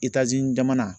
Itazzini jamana